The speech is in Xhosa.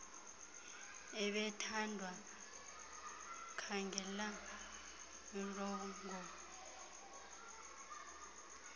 ebethandwa khangela urnbongo